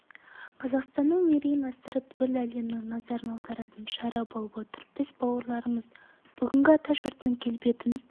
қазақстанның мерейін асырып күллі әлемнің назарын аударатын шара болып отыр біз бауырларымыз бүгінгі атажұртының келбетін